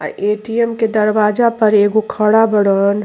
अ ATM. के दरवाजा पर एगो खड़ा बड़न --